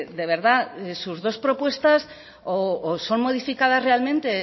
de verdad sus dos propuestas o son modificadas realmente